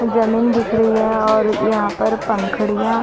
ज़मीन दिख रही है और यहाँ पर पंखुड़ियाँ --